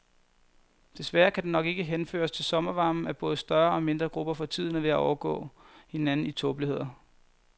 Desværre kan det nok ikke henføres til sommervarmen, at både større og mindre grupper for tiden er ved at overgå hinanden i tåbeligheder.